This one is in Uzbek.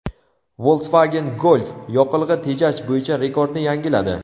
Volkswagen Golf yoqilg‘i tejash bo‘yicha rekordni yangiladi.